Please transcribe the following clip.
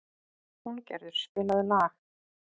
Húngerður, spilaðu lag.